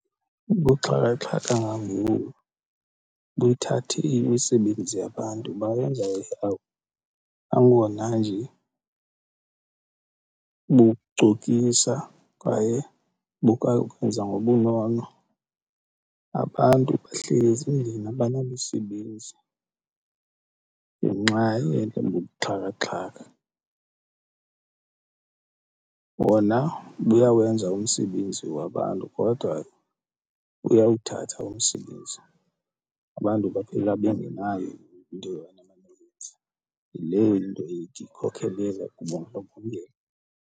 Ubuxhakaxhaka bangoku buyithathile imisebenzi yabantu bawenza i-app nangona nje bucokisa kwaye bukakwenza ngobunono, abantu bahleli ezindlini abanamisebenzi ngenxa yento yobubuxhakaxhaka. Bona buyawenza umsebenzi wabantu kodwa buyawuthatha umsebenzi, abantu baphela bengenayo into yoba mabayenze leyo into ethi ikhokhelele kubundlobongela.